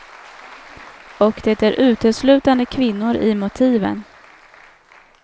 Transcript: Och det är uteslutande kvinnor i motiven.